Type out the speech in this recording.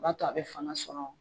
B'a to a bɛ fanga sɔrɔ